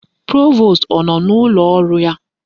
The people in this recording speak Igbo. Provost ọ nọ n'ụlọ ọrụ ya?